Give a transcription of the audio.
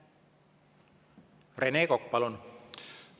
Rene Kokk, palun!